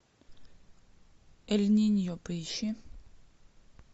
эль ниньо поищи